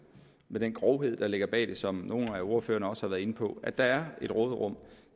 med den grovhed der ligger bag det som nogle af ordførerne også har været inde på at der er et råderum